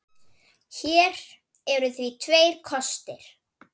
Hér eru því tveir kostir